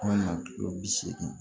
bi seegin